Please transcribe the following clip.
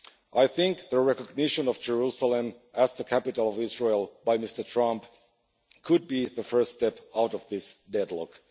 I think the recognition of Jerusalem as the capital of Israel by Mr Trump could be the first step out of this deadlock.